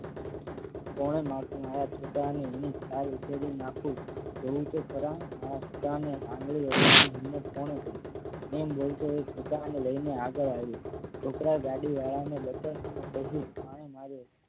કોનેમાર્યું મારા છોકરાને લીલી છાલ ઉતેડી નાખી જોવ તો ખરા મારા છોકરાને આગડી અડવાની હિંમત કોને કરી. તેમ બોલતો તે છોકરાને લઈ ને આગળ આવ્યો છોકરા ગાડીવાળા ને બતાવાનું કહ્યું. આણે માર્યો